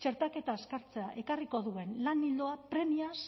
txertaketa azkartzea ekarriko duen lan ildoa premiaz